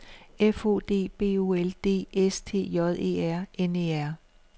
F O D B O L D S T J E R N E R